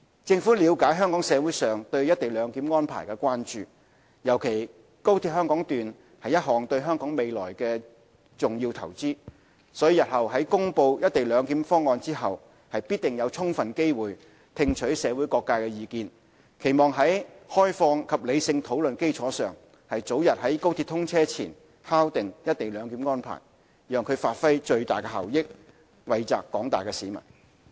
政府了解香港社會上對"一地兩檢"安排的關注，尤其高鐵香港段是一項對香港未來的重要投資，所以日後在公布"一地兩檢"方案後，必定有充分機會聽取社會各界的意見，期望在開放及理性討論的基礎上，早日在高鐵通車前敲定"一地兩檢"的安排，讓其發揮最大效益，惠澤廣大市民。